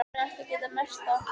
Ég hef nú ekki getað merkt það.